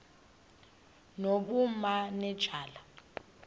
nobumanejala